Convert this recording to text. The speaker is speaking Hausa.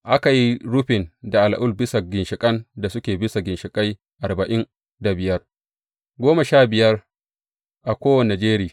Aka yi rufin da al’ul bisa ginshiƙan da suke bisa ginshiƙai arba’in da biyar, goma sha biya a kowane jeri.